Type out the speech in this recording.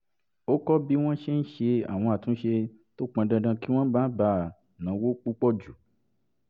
ó kọ́ bí wọ́n ṣe ń ṣe àwọn àtúnṣe tó pọn dandan kí wọ́n má bàa náwó púpọ̀ jù